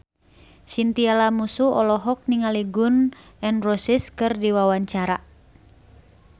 Chintya Lamusu olohok ningali Gun N Roses keur diwawancara